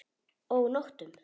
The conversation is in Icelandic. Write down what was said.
Og nóttum!